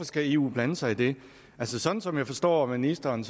skal eu blande sig i det sådan som jeg forstår ministeren